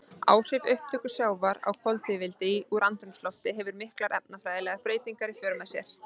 Áhrif upptöku sjávar á koltvíildi úr andrúmslofti hefur miklar efnafræðilegar breytingar í för með sér.